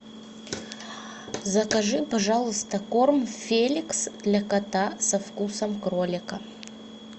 закажи пожалуйста корм феликс для кота со вкусом кролика